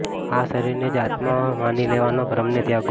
આ શરીરને જ આત્મા માની લેવાના ભ્રમને ત્યાગો